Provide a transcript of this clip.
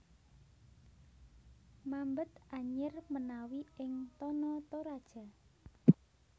Mambet anyir menawi ing Tana Toraja